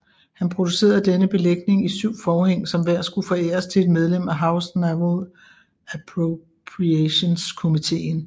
Han producerede denne belægning i syv forhæng som hver skulle foræres til et medlem af House Naval Appropriations komiteen